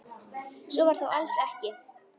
Svo var þó alls ekki.